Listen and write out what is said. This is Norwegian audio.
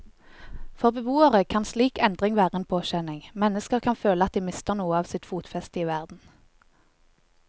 For beboere kan slik endring være en påkjenning, mennesker kan føle at de mister noe av sitt fotfeste i verden.